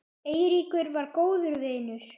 Eiríkur var góður vinur.